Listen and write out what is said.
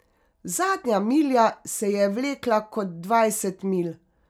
Zadnja milja se ji je vlekla kot dvajset milj.